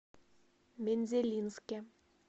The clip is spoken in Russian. мензелинске